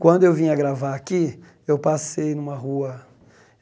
Quando eu vinha gravar aqui, eu passei numa rua.